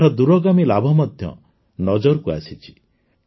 ଏହାର ଦୂରଗାମୀ ଲାଭ ମଧ୍ୟ ନଜରକୁ ଆସିଛି